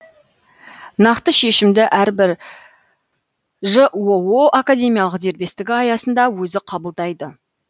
нақты шешімді әрбір жоо академиялық дербестігі аясында өзі қабылдайды